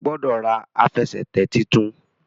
o gbódò rà Àfẹsẹ̀tẹ̀ títún!